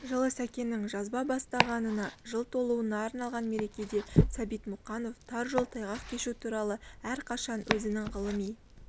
жылы сәкеннің жаза бастағанына жыл толуына арналған мерекеде сәбит мұқанов тар жол тайғақ кешу туралы әрқашан өзінің ғылыми